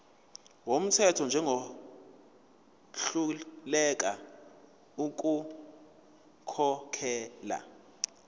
wumthetho njengohluleka ukukhokhela